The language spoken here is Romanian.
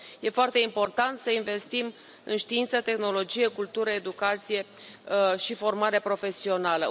E foarte important să investim în știință, tehnologie, cultură, educație și formare profesională.